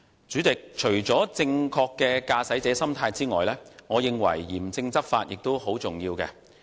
主席，除了正確的駕駛者心態外，我認為嚴正執法亦很重要。